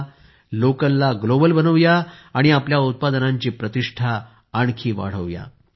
चला लोकलला ग्लोबल बनवूया आणि आपल्या उत्पादनांची प्रतिष्ठा आणखी वाढवूया